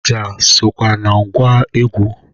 Ọja sokwa na ngwa egwu